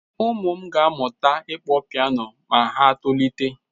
Ụm ụ m ga-amụta ịkpọ piano ma ha tolite.